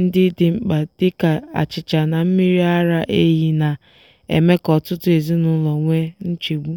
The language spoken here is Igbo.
ndị dị mkpa dị ka achịcha na mmiri ara ehi na-eme ka ọtụtụ ezinụlọ nwee nchegbu